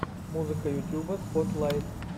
музыка ютуба спотлайт